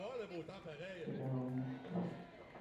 сериал мухтар